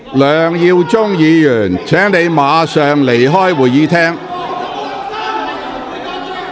梁耀忠議員，請你立即離開會議廳。